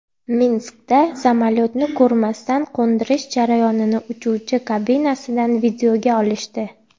Minskda samolyotni ko‘rmasdan qo‘ndirish jarayonini uchuvchi kabinasidan videoga olishdi .